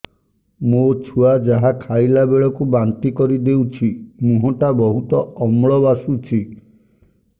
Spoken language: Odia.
ମୋ ଛୁଆ ଯାହା ଖାଇଲା ବେଳକୁ ବାନ୍ତି କରିଦଉଛି ମୁହଁ ଟା ବହୁତ ଅମ୍ଳ ବାସୁଛି